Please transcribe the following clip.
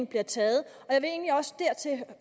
bliver taget og